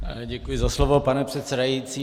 Děkuji za slovo, pane předsedající.